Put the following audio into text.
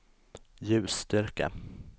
ljusstyrka